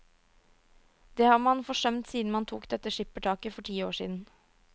Det har man forsømt siden man tok dette skippertaket for ti år siden.